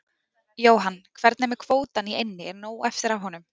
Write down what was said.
Jóhann: Hvernig er með kvótann í eynni, er nóg eftir af honum?